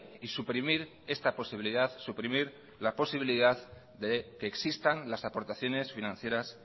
y suprimir esta posibilidad suprimir la posibilidad de que existan las aportaciones financieras